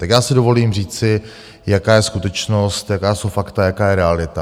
Tak já si dovolím říci, jaká je skutečnost, jaká jsou fakta, jaká je realita.